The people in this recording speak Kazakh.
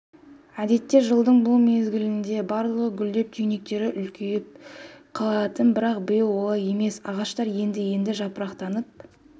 әдетте жылдың бұл мезгілінде барлығы гүлдеп түйнектері үлкейіп қалатын бірақ биыл олай емес ағаштар енді-енді жапырақтанып